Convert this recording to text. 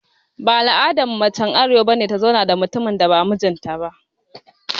Baya al'adan mace er arewa ta zauna da mutumin da ba mijin ta ba.